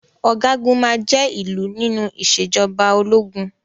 Ọ̀gágun máa jé ìlú nínú ìṣèjọba ológun.